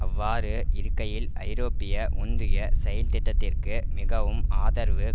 அவ்வாறு இருக்கையில் ஐரோப்பிய ஒன்றிய செயல்திட்டத்திற்கு மிகவும் ஆதரவு